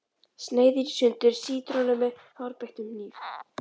Sneiðir í sundur sítrónu með hárbeittum hníf.